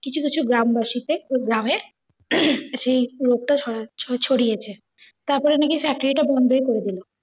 কিছু কিছু গ্রামবাসীকে ঐ গ্রামের সেই রোগটা ছড়া~ ছড়িয়েছে। তারপরে নাকি factory টা বন্ধই করে দিল।